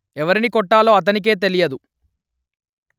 ఎవరిని కొట్టాలో అతనికే తెలియదు